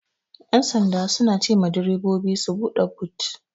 Ƴan sanda suna cema direbobi su buɗe but.